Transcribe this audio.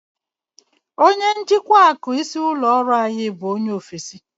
Onye njikwa akụ isi ụlọ ọrụ anyị bụ onye ofesi.